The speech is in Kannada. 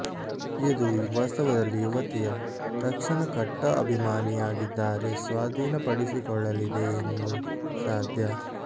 ಇದು ವಾಸ್ತವದಲ್ಲಿ ಯುವತಿಯ ತಕ್ಷಣ ಕಟ್ಟಾ ಅಭಿಮಾನಿಯಾಗಿದ್ದಾರೆ ಸ್ವಾಧೀನಪಡಿಸಿಕೊಳ್ಳಲಿದೆ ಎಂದು ಸಾಧ್ಯ